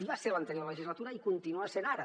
hi va ser l’anterior legislatura i hi continua sent ara